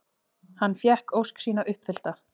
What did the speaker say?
Hann fékk ósk sína uppfyllta.